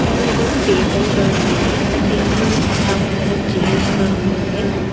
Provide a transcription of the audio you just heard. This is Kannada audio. ಇಲ್ಲಿ ಎರಡು ಟೇಬಲ್ ಗಳನ್ನು ಇವೆ ಆ ಟೇಬಲ್ಲಿನ ಸುತ್ತಾಮುತ್ತಲು ಚೇರ್ಸ್ ಗಳನ್ನು ಇವೆ.